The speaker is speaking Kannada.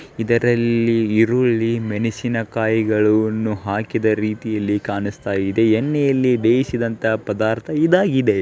ಇದರಲ್ಲಿ ಈರುಳ್ಳಿ ಮೆಣೆಸಿನಕಾಯಿಗಳನ್ನು ಹಾಕಿದ ರೀತಿಯಲ್ಲಿ ಕಾಣಿಸ್ತಾ ಇದೆ ಎಣ್ಣೆಯಲ್ಲಿ ಬೇಯಿಸಿದಂತಹ ಪದಾರ್ಥ್ ಇದಾಗಿದೆ.